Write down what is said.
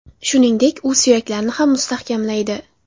Shuningdek, u suyaklarni ham mustahkamlaydi.